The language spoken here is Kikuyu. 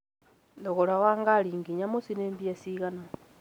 thogora wa ngari nginya mũciĩ nĩ mbia cigana?